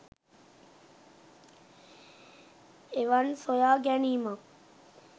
එවන් සොයා ගැනීමක්